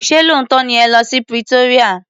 Ṣé lóòótọ́ ni ẹ lọ́ sí Pretoria.